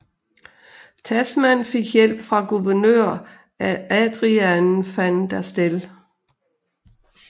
Tasman fik hjælp fra guvernør Adriaan van der Stel